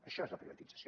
això és la privatització